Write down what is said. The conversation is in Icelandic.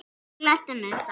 Gleddu mig þá.